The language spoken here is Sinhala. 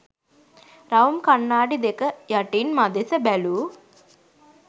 රවුම් කණ්ණාඩි දෙක යටින් මදෙස බැලූ